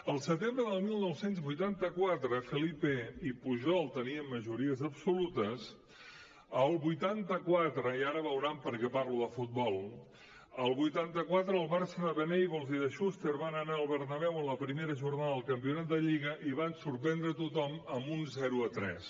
al setembre del dinou vuitanta quatre felipe i pujol tenien majories absolutes el vuitanta quatre i ara veuran perquè parlo de futbol el barça de venables i de schuster va anar al bernabéu a la primera jornada del campionat de lliga i va sorprendre a tothom amb un zero a tres